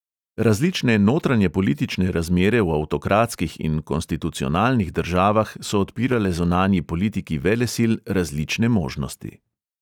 Različne notranjepolitične razmere v avtokratskih in konstitucionalnih državah so odpirale zunanji politiki velesil različne možnosti.